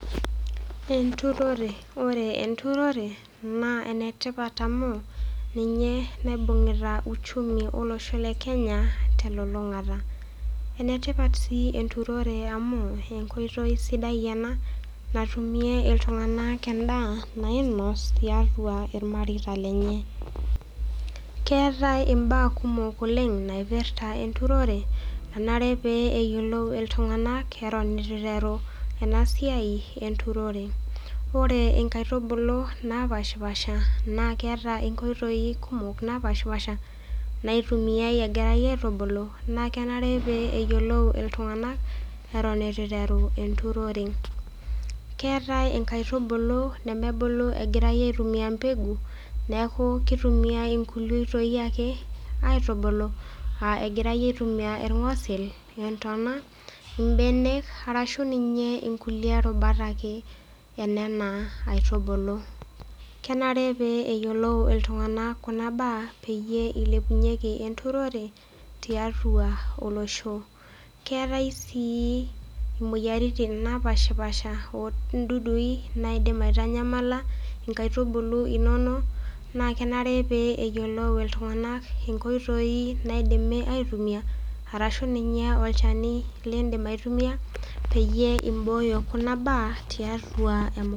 Enturore , ore enturore naa enetipat amu ninye nailepunyie uchumi olosho lekenya telulungata . Enetipat sii enturore amu enkoitoi sidai ena nainos tiatua irmareita lenye .Keetae imbaa kumok oleng naipirta enturore nanare pee eyiolou iltunganak eton itu iteru enasiai enturore .Ore nkaitubulu kumok napshapasha naa keeta nkoitoi kumok napashpasha naitumia egirae aitubulu , naa kenare pee eyiolou iltunganak eton itu iteru enturore .Keetae nkaitubulu nemebulu egirae aitumia mbegu neku kitumiay nkulie oitoi ake egirae aitubulu a irgosil ,imbenek, intona ,arashu ninye nkulie rubat ake enena aitubulu . Kenare pee eyiolou iltunganak kuna baa pee ilepunyie enturore tiatua olosho. Keetae sii imoyiaritin napashpasha ondudui naidim aitanyamala nkaitubulu inonok naa kenare pee eyiolou iltunganak nkoitoi naidimi aitumia , arashu ninye olchani lindim aitumia tiatua kuna baa enturore.